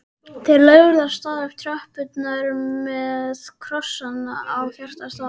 Þeir lögðu af stað upp tröppurnar með krossana í hjartastað.